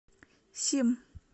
сим